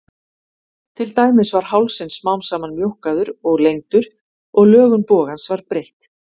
Til dæmis var hálsinn smám saman mjókkaður og lengdur og lögun bogans var breytt.